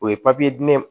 O ye diinɛ ye